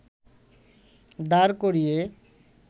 দাঁড় করিয়ে